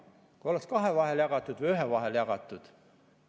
Kui oleks see kahe vahel jagatud ...